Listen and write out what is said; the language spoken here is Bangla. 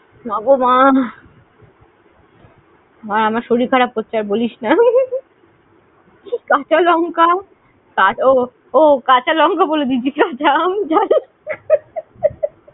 মা গো মা। মা আমার শরীর খারাপ করছে, আর বলিস না। কাঁচা লঙ্কা, ও কাঁচা লঙ্কা বলে দিয়েছি না, কাঁচা আম